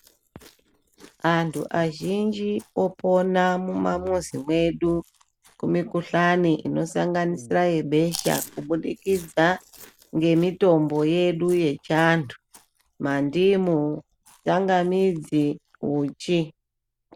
Antu azhinji opona mumamizi mwedu kumikhuhlani inosanganisira yebesha kubudikidza ngemitombo yedu yechiantu mandmu tsangamidzi uchi.